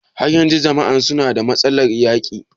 Har yanzun jama'an suna da matsalar yaƙi?